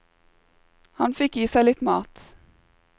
Han fikk i seg litt mat.